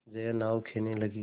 जया नाव खेने लगी